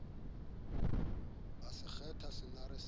a se kgwatha senare sa